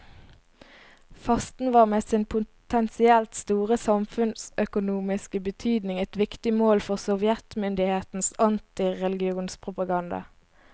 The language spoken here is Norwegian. Fasten var med sin potensielt store samfunnsøkonomiske betydning et viktig mål for sovjetmyndighetenes antireligionspropaganda.